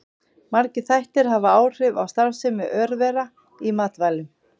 Margir þættir hafa áhrif á starfsemi örvera í matvælum.